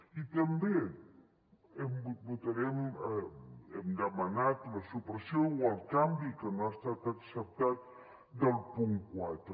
i també hem demanat la supressió o el canvi que no ha estat acceptat del punt quatre